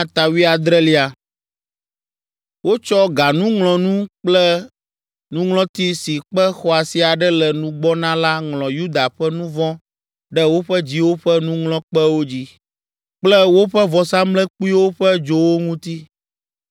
“Wotsɔ ganuŋlɔnu kple nuŋlɔti si kpe xɔasi aɖe le nugbɔ na la ŋlɔ Yuda ƒe nu vɔ̃ ɖe woƒe dziwo ƒe nuŋlɔkpewo dzi, kple woƒe vɔsamlekpuiwo ƒe dzowo ŋuti.